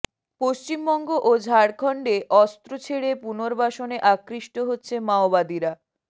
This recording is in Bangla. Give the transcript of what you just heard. পশ্চিমবঙ্গ ও ঝাড়খন্ডে অস্ত্র ছেড়ে পুনর্বাসনে আকৃষ্ট হচ্ছে মাওবাদীরা